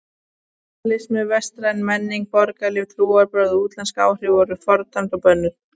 Kapítalismi, vestræn menning, borgarlíf, trúarbrögð og útlensk áhrif voru fordæmd og bönnuð.